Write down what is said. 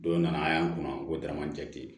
Don nana an y'an kunna ko danajati